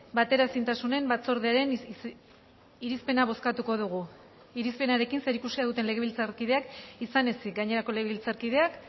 bateraezintasunen batzordearen irizpena bozkatuko dugu irizpenarekin zerikusia duten legebiltzarkideak izan ezik gainerako legebiltzarkideak